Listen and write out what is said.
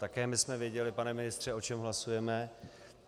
Také my jsme věděli, pane ministře, o čem hlasujeme.